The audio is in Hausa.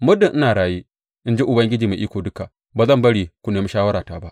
Muddin ina raye, in ji Ubangiji Mai Iko Duka, ba zan bari ku nemi shawarata ba.